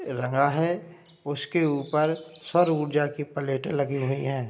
रंगा है उसके ऊपर सौर ऊर्जा की प्‍लेटें लगी हुई हैं ।